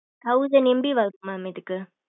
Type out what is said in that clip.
thousand MB worth mam இதுக்கு.